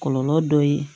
Kɔlɔlɔ dɔ ye